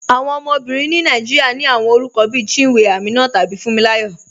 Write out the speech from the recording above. Awọn ọmọbìrín ni Nàìjíríà ní awọn orúkọ̀ bí Chínwé, Àmínà, tàbí Fúǹmíláyọ̀.